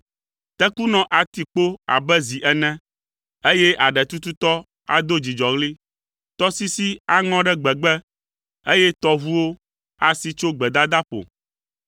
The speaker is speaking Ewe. Tekunɔ ati kpo abe zi ene, eye aɖetututɔ ado dzidzɔɣli, Tɔsisi aŋɔ ɖe gbegbe, eye tɔʋuwo asi tso gbedadaƒo.